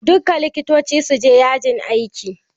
Duka Likitoci su je yajin aiki!